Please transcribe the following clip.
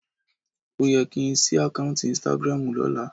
Ó yẹ kí ń ṣí àkáùntì Instagram lọ́la